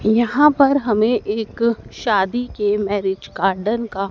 यहां पर हमें एक शादी के मैरिज गार्डन का--